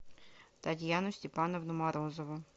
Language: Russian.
татьяну степановну морозову